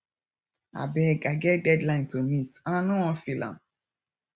abeg i get deadline to meet and i no wan fail am